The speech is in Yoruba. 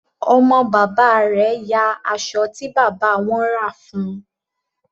Ọmọ bàbá rẹ̀ ya aṣọ tí bàbá wọn rà fún un.